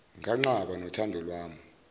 nganqaba nothando lwami